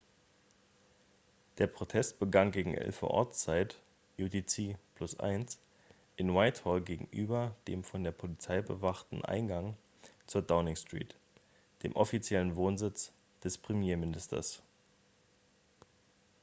der protest begann gegen 11:00 uhr ortszeit utc +1 in whitehall gegenüber dem von der polizei bewachten eingang zur downing street dem offiziellen wohnsitz des premierministers